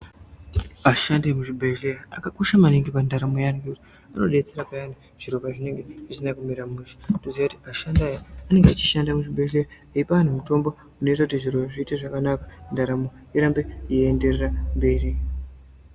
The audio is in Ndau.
Vashandi vemuzvibhedleya akakosha maningi pantaramo yedu vanodetsera payani zviro pazvinenge zvisina kumira mushe. Toziva kuti vashandi aya anenge anenge achishanda muzvibhedleya eyipa anhu mitombo unoita kuti zviro zviite zvakanaka ntaramo irambe iyiyenderera mberi.